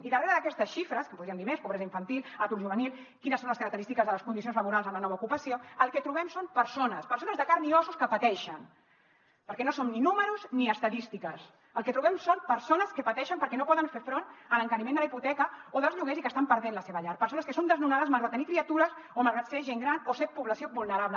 i darrere d’aquestes xifres que en podríem dir més pobresa infantil atur juvenil quines són les característiques de les condicions laborals amb la nova ocupació el que trobem són persones persones de carn i ossos que pateixen perquè no som ni números ni estadístiques el que trobem són persones que pateixen perquè no poden fer front a l’encariment de la hipoteca o dels lloguers i que estan perdent la seva llar persones que són desnonades malgrat tenir criatures o malgrat ser gent gran o ser població vulnerable